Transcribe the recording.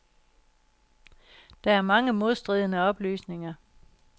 Der er mange modstridende oplysninger.